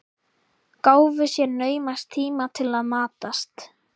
Gáfu sér naumast tíma til að matast.